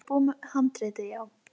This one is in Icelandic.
Svo þú ert búinn með handritið, já.